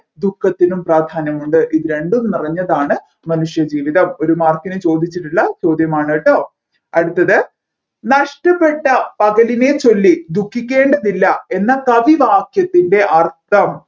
ദുഃഖത്തിനും പ്രാധാന്യമുണ്ട് ഇത് രണ്ടും നിറഞ്ഞതായാണ് മനുഷ്യ ജീവിതം ഒരു mark ന് ചോദിച്ചിട്ടുള്ള ചോദ്യമാണ് കേട്ടോ അടുത്തത് നഷ്ടപെട്ട പകലിനെ ചൊല്ലി ദുഃഖിക്കേണ്ടതില്ല എന്ന കവിവാക്യത്തിൻെറ അർത്ഥം